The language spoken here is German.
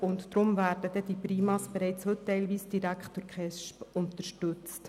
Deshalb werden die PriMa bereits heute teils direkt durch die KESB unterstützt.